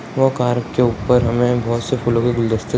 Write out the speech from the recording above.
वो कार के ऊपर हमें बहुत से फूलों के गुलदस्ते --